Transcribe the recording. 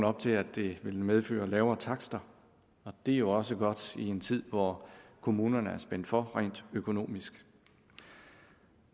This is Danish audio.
op til at det vil medføre lavere takster og det er jo også godt i en tid hvor kommunerne er spændt hårdt for rent økonomisk